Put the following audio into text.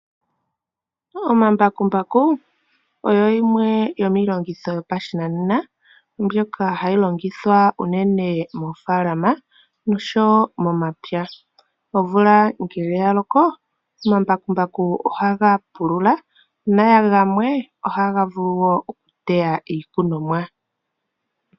Omambakumbaku oyo yimwe yomiilongitho yopashinanena mbyoka hayi longithwa unene moofalama nosho wo momapya. Omvula ngele ya loko omambakumbaku ohaga pulula na gamwe ohaga vulu wo okuteya iikunomwa.